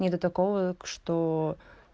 нету такого что